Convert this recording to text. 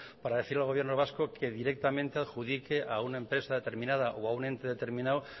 para decir al gobierno vasco que directamente adjudique a una empresa determinada o a un ente determinado